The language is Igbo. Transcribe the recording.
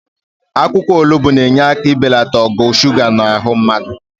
Akwụkwọ olugbo na-enye aka ibelata ogo suga nọ n'ahụ mmadụ.